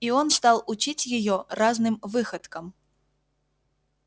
и он стал учить её разным выходкам